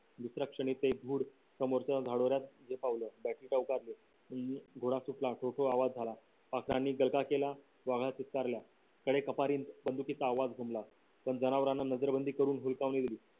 दुसऱ्या क्षणी तो धूर दोरा सुटला खुरखुर आवाज झाला केला वाघा चित्कारला कडे कपारी बंदुकीचा आवाज घुमला पण जनावरांना नजरबंदी करून हुलकावणी दिली